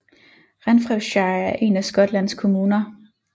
Renfrewshire er en af Skotlands kommuner